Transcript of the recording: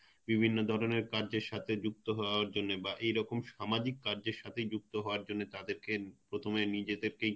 বিভিন্ন ধরনের কাজের সাথে যুক্ত হওয়ার জন্যে বা এরকম সামাজিক কাজের সাথে যুক্ত হওয়ার জন্যে হওয়ার জন্যে তাদের কে তুমি নিজে থেকেই